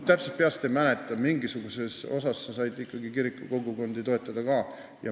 Ma täpselt peast ei mäleta, aga mingisuguses osas saab ikkagi kiriku kogukondi ka toetada.